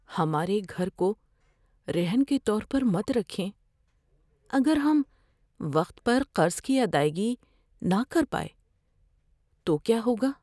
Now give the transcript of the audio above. ہمارے گھر کو رہن کے طور پر مت رکھیں۔ اگر ہم وقت پر قرض کی ادائیگی نہ کر پائے تو کیا ہوگا؟